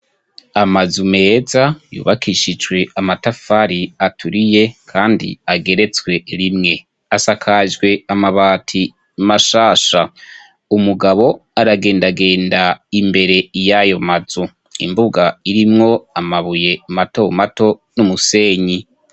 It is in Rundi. amazu meza yubakishijwe amatafari aturiye kandi ageretswe rimwe asakajwe amabati mashasha umugabo aragendagenda imbere y'ayo mazu imbuga irimwo amabuye mato mato n'umusenyi